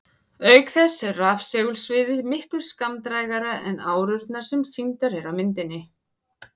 Auk þess er rafsegulsviðið miklu skammdrægara en árurnar sem sýndar eru á myndum.